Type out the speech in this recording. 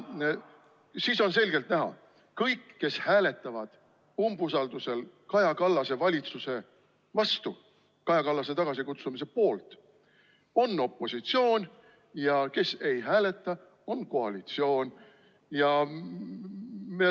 Siis on selgelt näha: kõik, kes hääletavad umbusaldusel Kaja Kallase valitsuse vastu ja tema tagasikutsumise poolt, on opositsioon, ja kes ei hääleta, on koalitsioon.